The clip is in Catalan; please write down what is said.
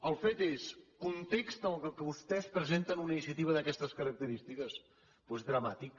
el fet és context en què vostès presenten una iniciativa d’aquestes característiques doncs dramàtic